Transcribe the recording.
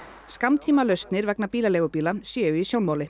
skammtímalausnir vegna bílaleigubíla séu í sjónmáli